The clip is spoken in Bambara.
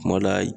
Kuma la